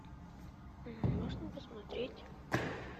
можно посмотреть